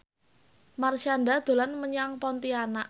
Marshanda dolan menyang Pontianak